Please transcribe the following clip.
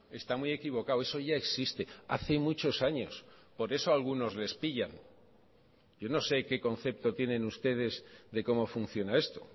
está muy equivocado eso ya existe hace muchos años por eso a algunos les pillan yo no sé qué concepto tienen ustedes de cómo funciona esto